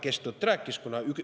Kes tõtt rääkis?